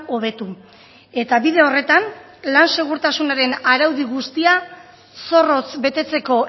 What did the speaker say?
hobetu eta bide horretan lan segurtasunaren araudi guztia zorrotz betetzeko